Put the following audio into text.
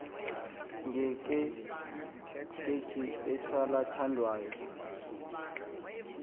nge ekwakheni isalathandawo